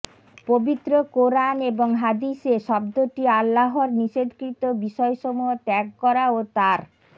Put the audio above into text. পবিত্র কোরআন এবং হাদিসে শব্দটি আল্লাহর নিষেধকৃত বিষয়সমূহ ত্যাগ করা ও তার